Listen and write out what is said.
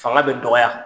Fanga bɛ dɔgɔya